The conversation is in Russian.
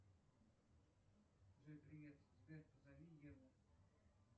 джой привет сбер позови еву